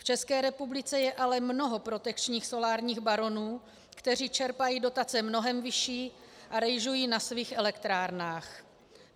V České republice je ale mnoho protekčních solárních baronů, kteří čerpají dotace mnohem vyšší a rejžují na svých elektrárnách.